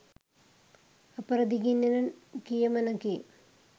අපරදිගින් එන කියමනකි.